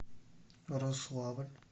рославль